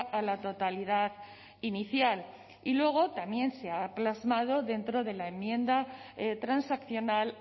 a la totalidad inicial y luego también se ha plasmado dentro de la enmienda transaccional